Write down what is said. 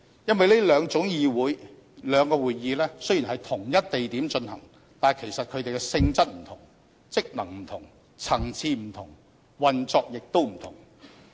因為這兩種會議雖然在同一地點進行，其實兩者的性質不同、職能不同、層次不同，運作也不同。